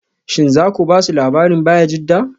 Shin za ku ba su labarin Bayajidda?